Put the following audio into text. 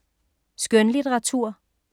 Skønlitteratur